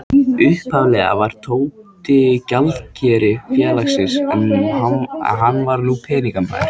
Upphaflega var Tóti gjaldkeri félagsins, hann var nú peningamaður.